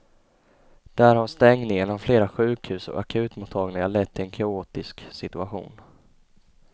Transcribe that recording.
Där har stängningen av flera sjukhus och akutmottagningar lett till en kaotisk situation.